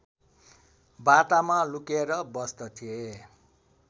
बाटामा लुकेर बस्दथे